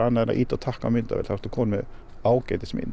annað en að ýta á takka á myndavél þá ertu kominn með